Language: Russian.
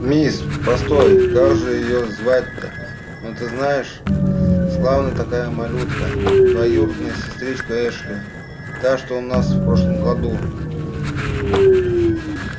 мисс постой как же её звать-то ну ты знаешь славная такая малютка двоюродная сестричка эшли та что у нас в прошлом году